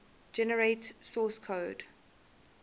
generate source code